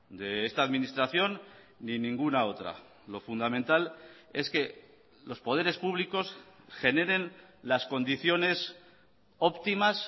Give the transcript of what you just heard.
de esta administración ni ninguna otra lo fundamental es que los poderes públicos generen las condiciones óptimas